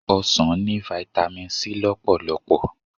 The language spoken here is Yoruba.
Ọsàn ní Vitamin C lọ́pọ̀lọ̀.